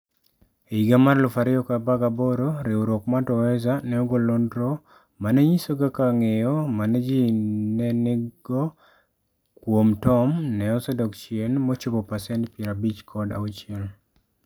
E higa mar 2018, riwruok mar Twaweza ne ogolo nonro ma ne nyiso kaka ng'eyo ma ji ne nigo kuom Tom ne osedok chien mochopo pasent 56.